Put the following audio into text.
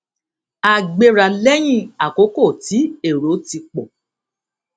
a gbéra léyìn àkókò tí èrò ti pò